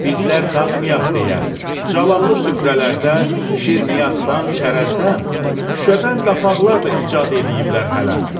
Bizlər dadmayaq deyə Cəlallı süfrələrdə şirniyyatdan, çərəzdən şüşədən qapaqlar da icad eləyiblər hələ.